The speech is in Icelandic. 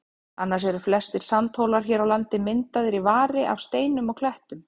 Annars eru flestir sandhólar hér á landi myndaðir í vari af steinum og klettum.